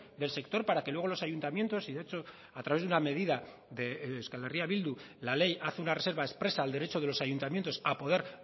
del sector para que luego los ayuntamientos y de hecho a través de una medida de euskal herria bildu la ley hace una reserva expresa al derecho de los ayuntamientos a poder